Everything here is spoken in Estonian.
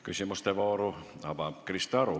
Küsimuste vooru avab Krista Aru.